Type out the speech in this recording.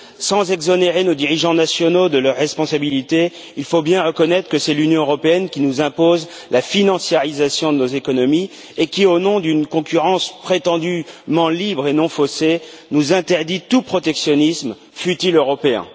Sans exonérer nos dirigeants nationaux de leurs responsabilités, il faut bien reconnaître que c'est l'Union européenne qui nous impose la financiarisation de nos économies, et qui, au nom d'une concurrence prétendument libre et non faussée, nous interdit tout protectionnisme, fût il européen.